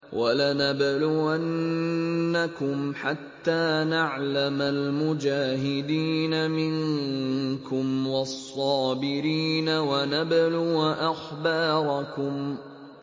وَلَنَبْلُوَنَّكُمْ حَتَّىٰ نَعْلَمَ الْمُجَاهِدِينَ مِنكُمْ وَالصَّابِرِينَ وَنَبْلُوَ أَخْبَارَكُمْ